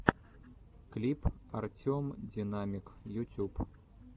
клип артем динамик ютюб